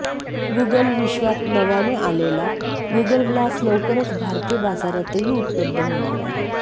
Google विश्वात नव्याने आलेला गूगल ग्लास लवकरच भारतीय बाजारातही उपलब्ध होणार आहे